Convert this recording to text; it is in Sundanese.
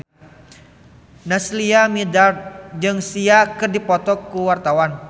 Naysila Mirdad jeung Sia keur dipoto ku wartawan